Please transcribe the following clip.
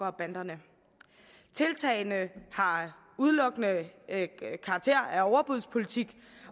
og banderne tiltagene har udelukkende karakter af overbudspolitik